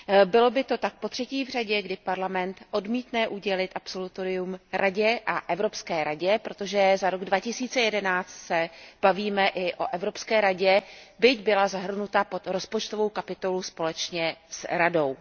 Bylo by to tak potřetí v řadě, kdy Parlament odmítne udělit absolutorium Radě a Evropské radě, protože za rok 2011 se bavíme i o Evropské radě, byť byla zahrnuta pod rozpočtovou kapitolu společně s Radou.